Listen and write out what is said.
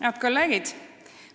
Head kolleegid!